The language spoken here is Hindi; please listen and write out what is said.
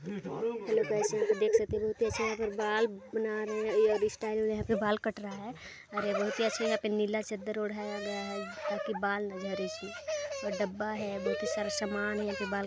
हेलो गाइस यहाँ पे देख सकते हो कैसे यहा पर बाल बना रहे हैं हेयरस्टाइल यहाँ पे बाल काट रहा है और बहुत अच्छे से यहाँ पे नीला चद्दर ओढ़ाया गया है ताकि बाल न जाय इसलिए डब्बा है बहुत ही सारा सामान है यहाँ पे बाल--